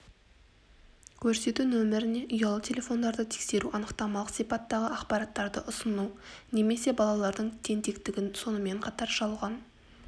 көрсету нөміріне ұялы телефондарды тексеру анықтамалық сипаттағы ақпараттады ұсыну немесе балалардың тентектігі сонымен қатар жалған